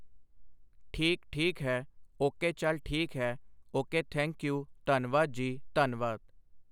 ਠੀਕ ਠੀਕ ਹੈ ਓਕੇ ਚੱਲ ਠੀਕ ਹੈ ਓਕੇ ਥੈਂਕ ਯੂ ਧੰਨਵਾਦ ਜੀ ਧੰਨਵਾਦ